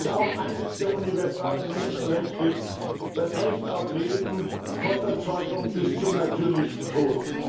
Das ist auch eines der universalen Menschenrechte, das Recht auf Leben, von der Zeugung bis zum natürlichen Tod.